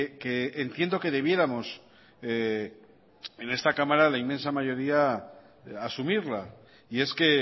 que entiendo que debiéramos en esta cámara la inmensa mayoría asumirla y es que